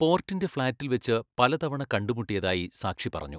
പോർട്ടിൻ്റെ ഫ്ളാറ്റിൽ വച്ച് പലതവണ കണ്ടുമുട്ടിയതായി സാക്ഷി പറഞ്ഞു.